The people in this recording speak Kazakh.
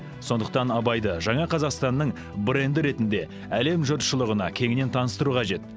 сондықтан абайды жаңа қазақстанның бренді ретінде әлем жұртшылығына кеңінен таныстыру қажет